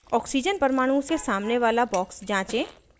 oxygen परमाणु के सामने वाला box जाँचें